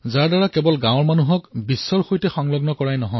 এই এপে কেৱল গাঁৱৰ লোককেই নহয় সমগ্ৰ বিশ্বকে একত্ৰিত কৰিলে